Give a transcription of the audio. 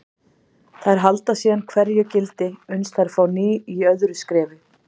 Þær halda síðan hverju gildi uns þær fá ný í öðru skrefi.